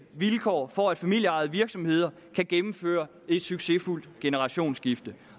vilkår for at familieejede virksomheder kan gennemføre et succesfuldt generationsskifte